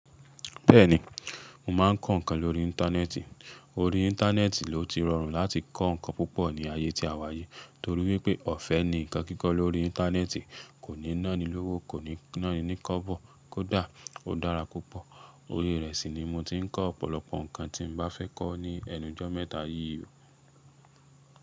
Bẹ́ẹ̀ni, mo máa ń kọ́ ǹkan lórí Íńtánẹ́ẹ̀tì. Orí Íńtánẹ́ẹ̀tì ló ti rọrùn láti kọ́ ǹkan púpọ̀ ní ayé tí a wá yi torí wípé ọ̀fẹ́ ni ǹkan kíkọ́ lórí Íńtánẹ́ẹ̀tì, kò ní ńá ni lówó, kò ní ńá ni ní kọ́bọ̀, kódà ó dára púpọ̀. Oyè rẹ̀ sì ni mo ti ń kọ́ ọ̀pọ̀lọpọ̀ ǹkan tí mo bá fẹ́ kọ́ ní ẹnujọ́ mẹ́ta yìí o.